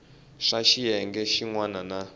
swa xiyenge xin wana na